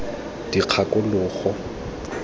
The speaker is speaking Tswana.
dikgakologo